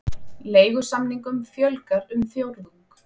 Leigusamningum fjölgar um fjórðung